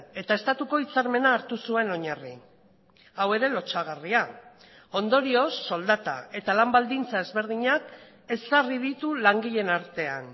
eta estatuko hitzarmena hartu zuen oinarri hau ere lotsagarria ondorioz soldata eta lan baldintza ezberdinak ezarri ditu langileen artean